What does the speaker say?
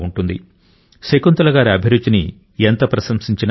శకుంతల గారి అభిరుచిని ఎంత ప్రశంసించినా తక్కువే